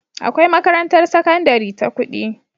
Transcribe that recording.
Akwai makarantar sakandari ta kudi